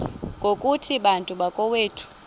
ngokuthi bantu bakowethu